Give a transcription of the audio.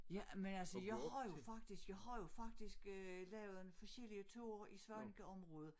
Ja men altså jeg har jo faktisk jeg har jo faktisk øh lavet foskellige ture i Svanekeområdet